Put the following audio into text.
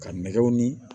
Ka nɛgɛw ni